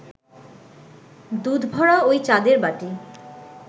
দুধভরা ঐ চাঁদের বাটি